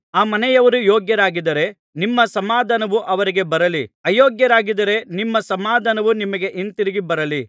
ಆ ಮನೆಯವರು ಯೋಗ್ಯರಾಗಿದ್ದರೆ ನಿಮ್ಮ ಸಮಾಧಾನವು ಅವರಿಗೆ ಬರಲಿ ಅಯೋಗ್ಯರಾಗಿದ್ದರೆ ನಿಮ್ಮ ಸಮಾಧಾನವು ನಿಮಗೆ ಹಿಂದಿರುಗಿ ಬರಲಿ